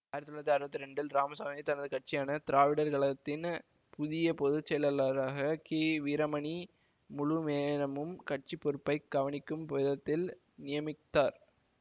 ஆயிரத்தி தொள்ளாயிரத்தி அறுபத்தி இரண்டில் இராமசாமி தனது கட்சியான திராவிடர் கழகத்தின் புதிய பொதுச்செயலாளராக கிவீரமணி முழு நேரமும் கட்சி பொறுப்பை கவனிக்கும் விதத்தில் நியமித்தார்